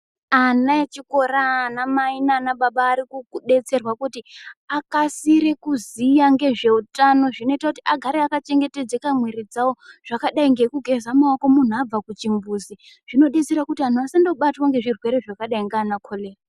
Ana echikora ana mai nana baba ari ku detserwa kuti akasire kuziya ngezve utano zvinoita kuti agere aka chengetedzeka mwiri dzawo zvakadai ngeku geza maoko muntu abva ku chimbuzi zvino desera kuti anhu asango batwa ne zvirwere zvaka dai nana korera.